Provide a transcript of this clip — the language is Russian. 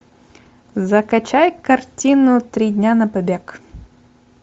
закачай картину три дня на побег